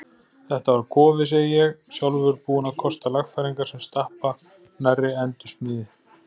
Þetta var kofi, segi ég, sjálfur búinn að kosta lagfæringar sem stappa nærri endursmíði.